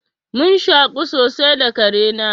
Mun shaƙu sosai da kare na.